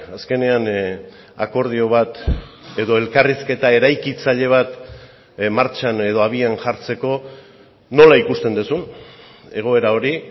azkenean akordio bat edo elkarrizketa eraikitzaile bat martxan edo abian jartzeko nola ikusten duzun egoera hori